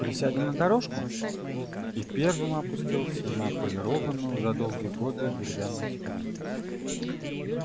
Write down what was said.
присядем на дорожку и первым опустился на отполированную за долгие годы деревянную скамью